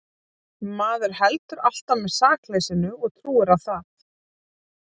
Maður heldur alltaf með sakleysinu og trúir á það.